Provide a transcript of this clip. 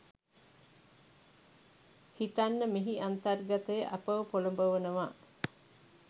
හිතන්න මෙහි අන්තර්ගතය අපව පොළඹවනවා.